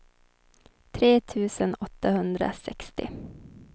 tre tusen åttahundrasextio